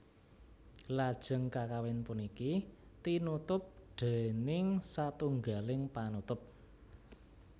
Lajeng kakawin puniki tinutup déning satunggaling panutup